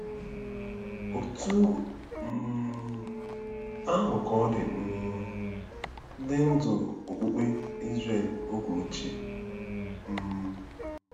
Otú um ahụ ka ọ dị um ndị ndú okpukpe Izrel oge ochie. um